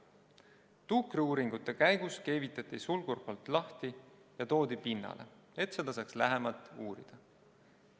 Tuukriuuringute käigus keevitati sulgurpolt lahti ja toodi pinnale, et seda saaks lähemalt uurida.